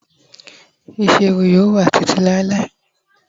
isi ẹwù yíò wá ti ti Lai